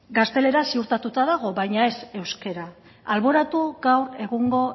gaztelera ziurtatuta dago baina ez euskara alboratu gaur egungo